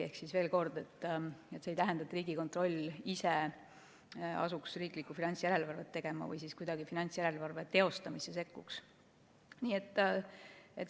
Ehk veel kord: Riigikontroll ise ei asu riiklikku finantsjärelevalvet tegema ega sekku kuidagi finantsjärelevalve teostamisse.